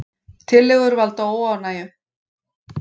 Tillögur valda óánægju